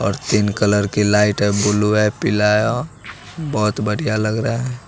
और तीन कलर की लाइट है ब्लू है पीला है और बहोत बढ़िया लग रहा है।